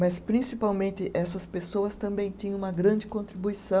Mas, principalmente, essas pessoas também tinham uma grande contribuição